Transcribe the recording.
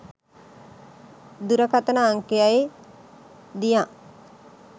දුරකථන අංකයයි දියන්